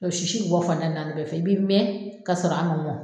sisi bɛ bɔ fan tan ni naani bɛɛ fɛ, i bi mɛn ka sɔrɔ an ma mɔn